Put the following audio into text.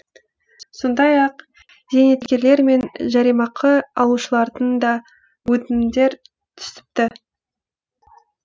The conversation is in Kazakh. сондай ақ зейнеткерлер мен жәрдемақы алушылардан да өтінімдер түсіпті